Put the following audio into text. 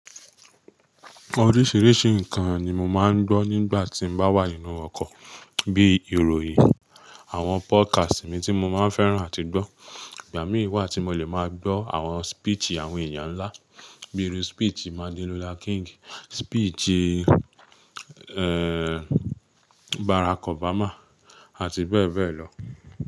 Oríṣìíríṣìí ǹkan ni mo máa ń gbọ́ nígbà tí m bá wà nínú ọkọ̀, bí i ìròyìn, àwọn podcast mi tí mo máa ń fẹ́ràn àti gbọ́. Ìgbà mí wà tí mo lè máa gbọ́ àwọn speech àwọn èèyàn ńlá, bí irú speech Martin Luther King, speech, eh, Barack Obama àti bẹ́ẹ̀ bẹ́ẹ̀ lọ.